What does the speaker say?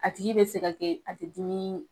A tigi bɛ se ka kɛ a tɛ dumini